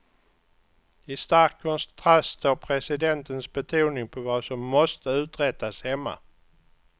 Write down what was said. I stark kontrast står presidentens betoning på vad som måste uträttas hemma.